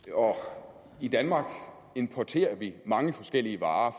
og i danmark importerer vi mange forskellige varer